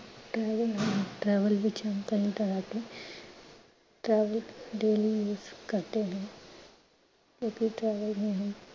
travel ਵਿਚ ਹਮ ਕਹੀਂ travel daily ਕਰਤੇ ਹੈਂ।